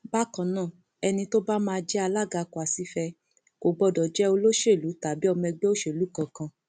bákan náà ẹni tó bá máa jẹ alága kwàsífẹ kò gbọdọ jẹ olóṣèlú tàbí ọmọ ẹgbẹ òṣèlú kankan